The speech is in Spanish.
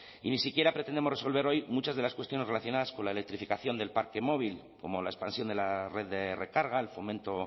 y ni siquiera pretendemos resolver hoy muchas de las cuestiones relacionadas con la electrificación del parque móvil como la expansión de la red de recarga el fomento